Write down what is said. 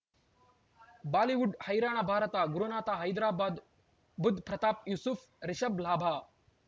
Bollywood ಹೈರಾಣ ಭಾರತ ಗುರುನಾಥ ಹೈದರಾಬಾದ್ ಬುಧ್ ಪ್ರತಾಪ್ ಯೂಸುಫ್ ರಿಷಬ್ ಲಾಭ